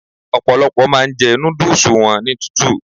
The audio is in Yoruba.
Ọ̀pọ̀lọ́pọ̀ máa ń jẹ núdúúsù wọn ní tútù